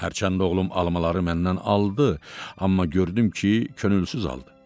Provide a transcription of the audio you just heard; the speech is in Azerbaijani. Hərçənd oğlum almaları məndən aldı, amma gördüm ki, könülsüz aldı.